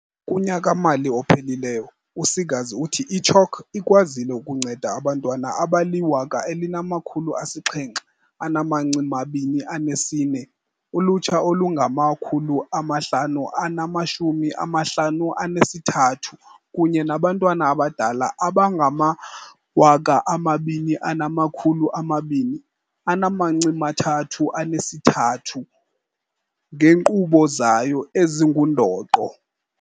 Kunyaka-mali ophelileyo, u-Seegers uthi i-CHOC ikwazile ukunceda abantwana abali-1 724, ulutsha olungama-553 kunye nabantu abadala abangama-2 232 ngeenkqubo zayo ezingundoqo.